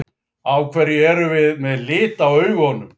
Af hverju erum við með lit á augunum?